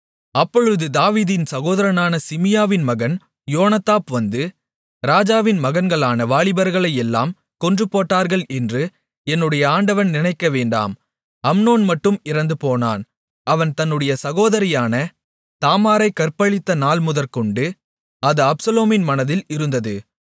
அப்பொழுது தாவீதின் சகோதரனான சிமியாவின் மகன் யோனதாப் வந்து ராஜாவின் மகன்களான வாலிபர்களையெல்லாம் கொன்று போட்டார்கள் என்று என்னுடைய ஆண்டவன் நினைக்கவேண்டாம் அம்னோன் மட்டும் இறந்துபோனான் அவன் தன்னுடைய சகோதரியான தாமாரைக் கற்பழித்த நாள்முதற்கொண்டு அது அப்சலோமின் மனதில் இருந்தது